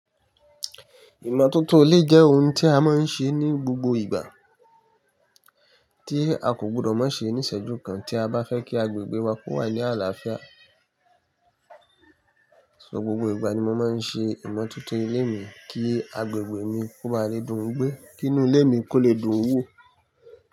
Ìmọ́tótó ilé jẹ́ ohun tí a máa ń ṣe ní gbogbo ìgbà, tí a kò gbọdọ̀ má ṣe níṣẹ́jú kan tí a bá fẹ́ kí agbègbè wa kó wà ní àlàáfíà. So gbogbo ìgbà ni mo máa ń ṣe ìmọ́tótó ilé mi kí agbègbè mi kó máa le dùn gbí, kí inú ilé mi kó lè dùn wò.